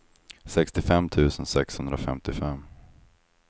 sextiofem tusen sexhundrafemtiofem